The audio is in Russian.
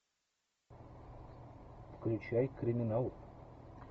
включай криминал